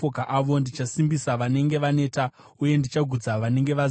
Ndichasimbisa vanenge vaneta uye ndichagutsa vanenge vaziya.”